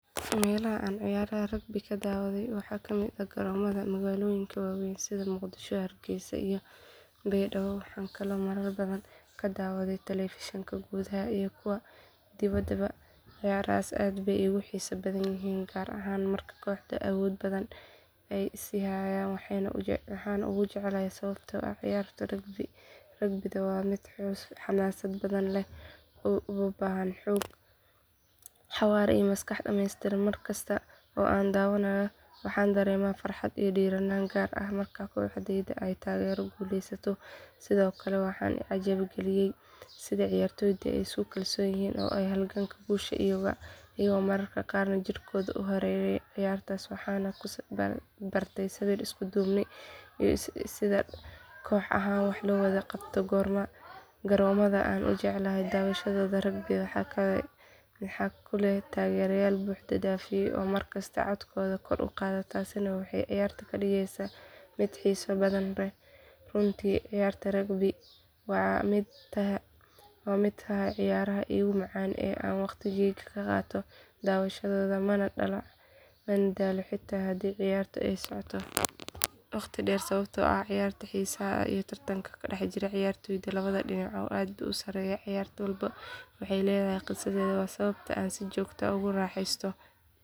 Meelaha aan ciyaaraha rugby-da ka daawaday waxaa ka mid ah garoomada magaalooyinka waaweyn sida muqdisho hargeysa iyo baydhabo waxaan kaloo marar badan ka daawaday telefishinada gudaha iyo kuwa dibadda ciyaarahaas aad bay iigu xiiso badan yihiin gaar ahaan marka kooxaha awoodda badan ay is hayaan waxaan ugu jecelahay sababtoo ah ciyaarta rugby-du waa mid xamaasad badan leh oo u baahan xoog xawaare iyo maskax dhammaystiran markasta oo aan daawado waxaan dareemaa farxad iyo dhiiranaan gaar ah marka kooxdayda aan taageero guulaysato sidoo kale waxaa i cajab galiya sida ciyaartoydu ay isku kalsoon yihiin oo ay ugu halgamaan guusha iyagoo mararka qaar jidhkooda u huraya ciyaartaas waxaan ku bartay sabir isku duubni iyo sida koox ahaan wax loo wada qabto garoomada aan ugu jecelahay daawashada rugby-da waa kuwa leh taageerayaal buux dhaafiyay oo mar kasta codkooda kor u qaadaya taasina waxay ciyaarta ka dhigtaa mid xiiso badan runtii ciyaarta rugby-du waxay ka mid tahay ciyaaraha iigu macaan ee aan waqtigayga ku qaato daawashadooda mana daalo xataa haddii ciyaartu ay socoto waqti dheer sababtoo ah xiisaha iyo tartanka ka dhex jira ciyaartoyda labada dhinac aad buu u sareeyaa ciyaar walba waxay leedahay qisadeeda waana sababta aan si joogto ah ugu raaxaysto daawashadeeda